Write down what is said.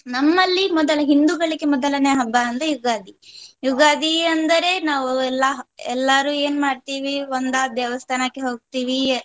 ನಮ್ಮಲ್ಲಿ ಮೊದಲ ಹಿಂದುಗಳಿಗೆ ಮೊದಲನೇ ಹಬ್ಬ ಅಂದ್ರೆ ಯುಗಾದಿ. ಯುಗಾದಿ ಅಂದರೆ ನಾವು ಎಲ್ಲ ಎಲ್ಲಾರು ಏನು ಮಾಡ್ತಿವಿ ಒಂದಾ ದೇವಸ್ಥಾನಕ್ಕೆ ಹೋಗ್ತಿವಿ.